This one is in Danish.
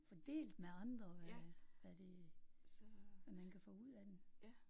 Få delt med andre hvad hvad det. Hvad man kan få ud af den